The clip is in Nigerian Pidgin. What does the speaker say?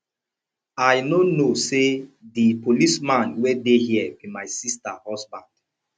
i no know say the policeman wey dey here be my sister husband